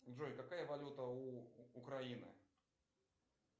джой какая валюта у украины